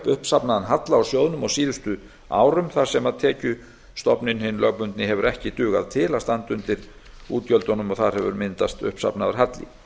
uppsafnaðan halla á sjóðnum á síðustu árum þar sem tekjustofninn hinn lögbundni hefur ekki dugað til að standa undir útgjöldunum og þar hefur myndast uppsafnaður halli